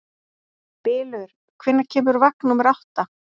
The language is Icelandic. Bylur, hvenær kemur vagn númer átta?